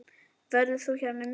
Verður þú hérna um jólin?